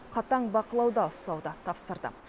қатаң бақылауда ұстауды тапсырды